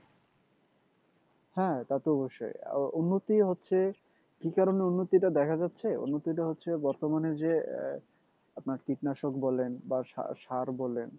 হ্যাঁ তা তো অবশ্যই উন্নতিও হচ্ছে কি কারনে উন্নতিটা দেখা যাচ্ছে উন্নতিটা হচ্ছে বর্তমানে যে আপনার কীটনাশক বলেন বা সার বলেন